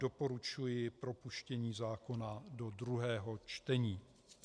Doporučuji propuštění zákona do druhého čtení.